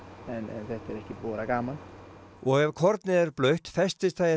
en þetta er ekki búið að vera gaman og ef kornið er blautt festist það í